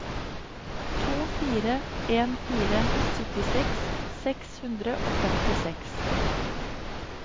to fire en fire syttiseks seks hundre og femtiseks